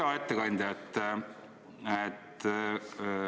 Hea ettekandja!